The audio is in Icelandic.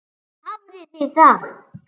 Þar hafið þið það!